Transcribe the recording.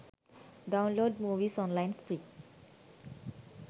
download movies online free